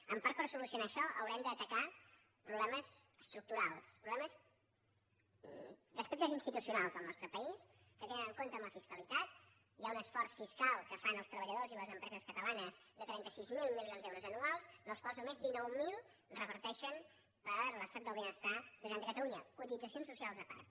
en part per solucionar això haurem d’atacar problemes estructurals problemes d’aspectes institucionals del nostre país que tenen en compte la fiscalitat hi ha un esforç fiscal que fan els treballadors i les empreses catalanes de trenta sis mil milions d’euros anuals dels quals només dinou mil reverteixen per a l’estat del benestar de la generalitat de catalunya cotitzacions socials a part